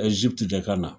Ɛztiti de ka na